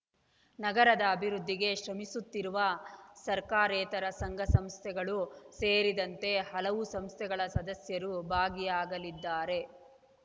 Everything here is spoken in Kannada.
ನಗರದ ಅಭಿವೃದ್ಧಿಗೆ ಶ್ರಮಿಸುತ್ತಿರುವ ಸರ್ಕಾರೇತರ ಸಂಘ ಸಂಸ್ಥೆಗಳು ಸೇರಿದಂತೆ ಹಲವು ಸಂಸ್ಥೆಗಳ ಸದಸ್ಯರು ಭಾಗಿಯಾಗಲಿದ್ದಾರೆ